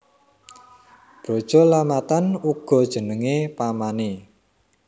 Brajalamatan uga jenengé pamané